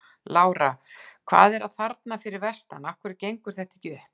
Lára: Hvað er að þarna fyrir vestan, af hverju gengur þetta ekki upp?